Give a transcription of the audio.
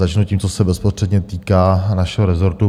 Začnu tím, co se bezprostředně týká našeho rezortu.